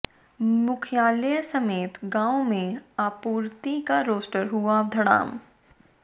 मुख्यालय समेत गांवों में आपूर्ति का रोस्टर हुआ धड़ाम